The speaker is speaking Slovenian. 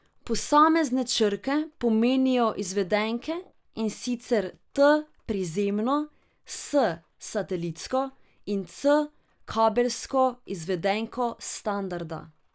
Posamezne črke pomenijo izvedenke, in sicer T prizemno, S satelitsko in C kabelsko izvedenko standarda.